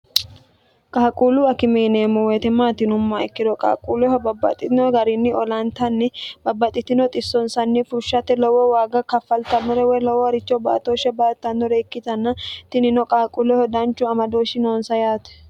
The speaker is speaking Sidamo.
qaaquullu akimeeneemmo woyite maatinumma ikkiro qaaqquulleho babbaxxitino gariinni olaantanni babbaxitino xissonsanni fushshate lowo waaga kaffaltannore woy lowo haricho baatooshshe baartannore ikkitanna tinino qaaquulleho danchu amadooshshi noonsa yaate